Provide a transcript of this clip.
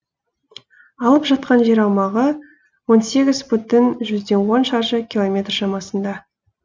алып жатқан жер аумағы он сегіз бүтін жүзден он шаршы километр шамасында